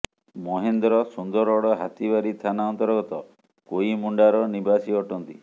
ମହେନ୍ଦ୍ର ସୁନ୍ଦରଗଡ଼ ହାତିବାରୀ ଥାନା ଅନ୍ତର୍ଗତ କୋଇମୁଣ୍ଡାର ନିବାସୀ ଅଟନ୍ତି